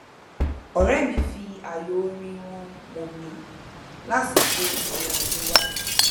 ọrẹ mi fi ààyò orin wọn mọ mí lásìkò ìrìn àjò wa